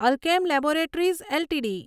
Alkem laboratories LTD